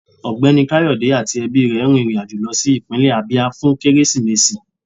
Ọgbẹni Kayode ati ẹbi rẹ rín irín ajọ̀ lọ si ipinle Abia fun Keresimesi